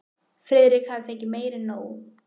Friðrik hafði fengið meira en nóg.